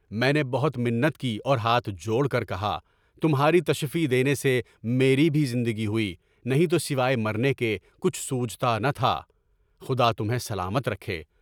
میں نے بہت منت کی اور ہاتھ جوڑ کر کہا، تمہاری تشفی دینے سے میری بھی زندگی ہوئی، نہیں تو سوائے مرنے کے کچھ سوجھتا نہ تھا، خدا تمہیں سلامت رکھے۔